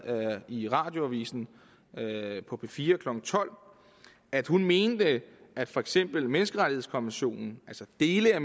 i radioavisen på p fire klokken tolv at hun mente at for eksempel menneskerettighedskonventionen altså dele af